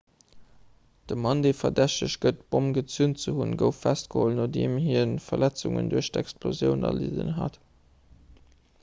de mann dee verdächtegt gëtt d'bomm gezünt ze hunn gouf festgeholl nodeem hie verletzungen duerch d'explosioun erlidden hat